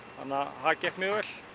það gekk mjög vel